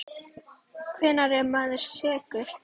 Hvenær er maður sekur?